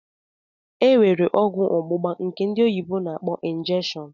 Enwere ọgwụ ọgbugba nke ndị oyibo na -akpọ "injection"